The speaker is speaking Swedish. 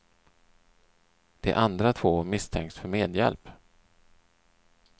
De två andra misstänks för medhjälp.